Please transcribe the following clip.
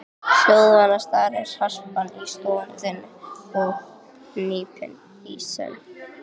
Hljóðvana starir harpan í stofu þinni og hnípin í senn.